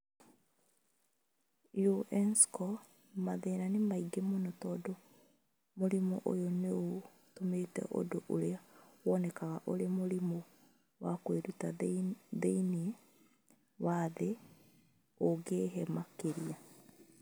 UNESCO, mathĩna nĩ maingĩ mũno, tondũ mũrimũ ũyũ nĩ ũtũmĩte ũndũ ũrĩa woonekaga ũrĩ mũrimũ wa kwĩruta thĩinĩ wa thĩ ũingĩhe makĩria.